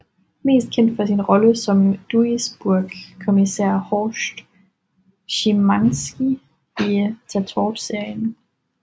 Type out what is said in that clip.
Mest kendt for sin rolle som Duisburg kommisær Horst Schimanski i Tatort serien